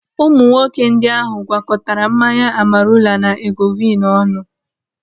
Ụmụ nwoke ndị ahụ gwakọtara mmanya Amarula na Egovin ọnụ.